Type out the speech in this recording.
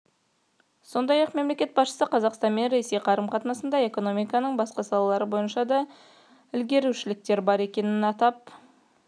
сондай-ақ мемлекет басшысы қазақстан мен ресей қарым-қатынасында экономиканың басқа салалары бойынша да ілгерілеушіліктер бар екенін атап